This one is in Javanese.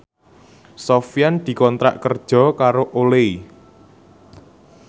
Sofyan dikontrak kerja karo Olay